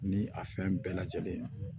Ni a fɛn bɛɛ lajɛlen